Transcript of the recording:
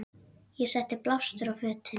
Ég setti blástur á fötin.